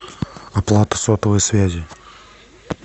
оплата сотовой связи